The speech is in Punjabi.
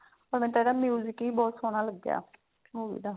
ਮੈਨੂੰ ਤਾਂ ਇਹਦਾ ਵੀ ਬਹੁਤ ਸੋਹਣਾ ਲੱਗਿਆ ਉਹਦਾ